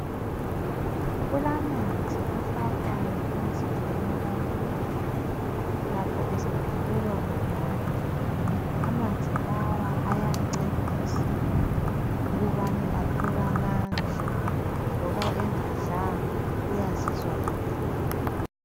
Kulamanzi afakwayo emzimbeni womuntu lapho esephelelwa ngamandla. Amanzi lawa ayamncedisa ukubana athole amandla loba engadlanga uyazizwa eqinile.